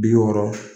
Bi wɔɔrɔ